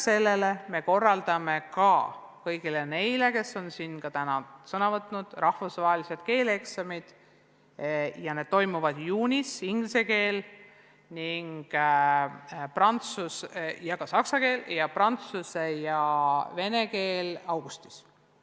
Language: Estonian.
Peale selle korraldame kõigile neile, kes on siin täna ka sõna võtnud, rahvusvahelised keeleeksamid – inglise keel ja saksa keel toimuvad juunis, prantsuse ja vene keel augustis.